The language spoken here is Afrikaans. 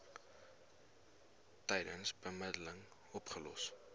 tydens bemiddeling opgelos